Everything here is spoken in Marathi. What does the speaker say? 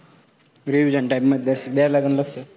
Revision type मध्ये द्यावं लागेन लक्ष.